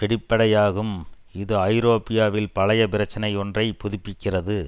வெளிப்படையாகும் இது ஐரோப்பாவில் பழைய பிரச்சினை ஒன்றை புதுப்பிக்கிறது